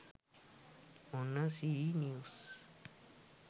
ඔන්න C news